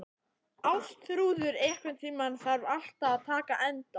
Ástþrúður, einhvern tímann þarf allt að taka enda.